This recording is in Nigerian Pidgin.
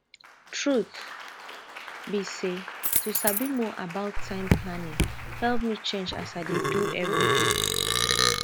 truth be say to sabi more about time planning help me change as i dey do everyday